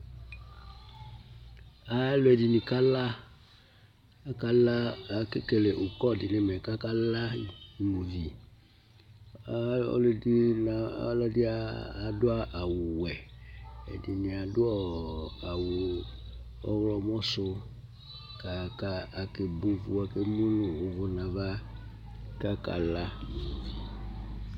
ɛmɛ alʋɛdini kala, akɛ kɛlɛ ʋkɔ dinʋ ɛmɛ kʋ aka la ,ɔlʋɛdini la ya adʋ awʋ wɛ, ɛdini adʋɔ awʋ ɔwlɔmɔ sʋ kʋ akɛ bɔ ʋvʋ, ɛmʋnʋ ɔwɔ nʋ aɣa